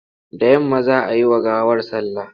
Da yamma za a yi wa gawar sallah.